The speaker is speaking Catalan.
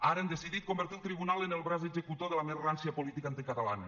ara han decidit convertir el tribunal en el braç executor de la més rància política anticatalana